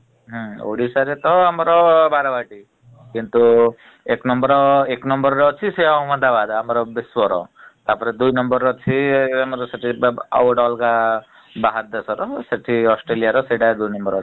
ଉଁ ଓଡ଼ିଶାରେ ତ ଆମର ବାରବାଟୀ । କିନ୍ତୁ ଏକ number ଏକ number ରେ ଅଛି ସିଏ ଅହମ୍ମଦାବାଦ୍ ଆମର ବିଶ୍ଵର । ତାପରେ ଦୁଇ number ରେ ଅଛି ସେ ଯଉ ଆଉ ଗୋଟେ ଅଲଗା ବାହାର ଦେଶର ସେଠି australia ର ସେଇଟା ଦୁଇ number ଅଛି ।